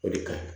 O de ka ɲi